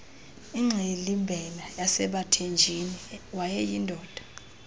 ingxilimbela yasebathenjini wayeyindoda